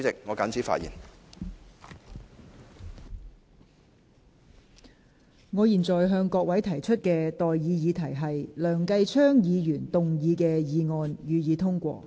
我現在向各位提出的待議議題是：梁繼昌議員動議的議案，予以通過。